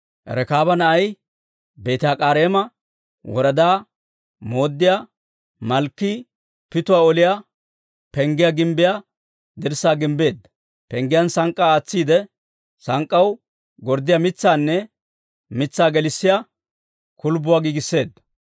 Rekaaba na'ay, Beeti-Hakkareema woradaa mooddiyaa Malkkii Pituwaa Oliyaa Penggiyaa gimbbiyaa dirssaa gimbbeedda. Penggiyaan sank'k'aa aatsiide, sank'k'aw gorddiyaa mitsaanne mitsaa gelissiyaa kulbbuwaa giigisseedda.